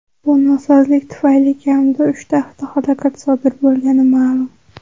Bu nosozlik tufayli kamida uchta avtohalokat sodir bo‘lgani ma’lum.